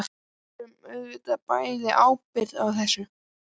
Við berum auðvitað bæði ábyrgð á þessu.